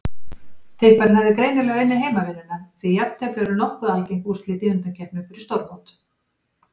Tipparinn hafði greinilega unnið heimavinnuna því jafntefli eru nokkuð algeng úrslit í undankeppnum fyrir stórmót.